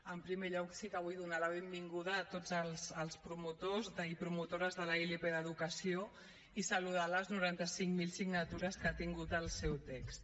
en primer lloc sí que vull donar la benvinguda a tots els promotors i promotores de la ilp d’educació i saludar les noranta cinc mil signatures que ha tingut el seu text